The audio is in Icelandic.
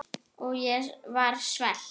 Og ég var svelt.